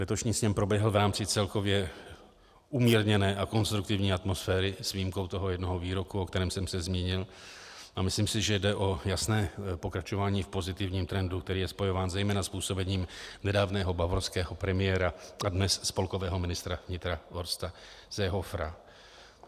Letošní sněm proběhl v rámci celkově umírněné a konstruktivní atmosféry s výjimkou toho jednoho výroku, o kterém jsem se zmínil, a myslím si, že jde o jasné pokračování v pozitivním trendu, který je spojován zejména s působením nedávného bavorského premiéra a dnes spolkového ministra vnitra Horsta Seehofera.